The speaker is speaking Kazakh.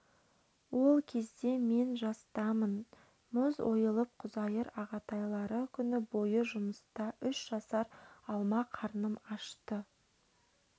ол кезде мен жастамын мұз ойылып құзайыр ағатайлары күні бойы жұмыста үш жасар алма қарным ашты